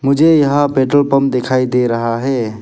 मुझे यहां petrol pump दिखाई दे रहा है।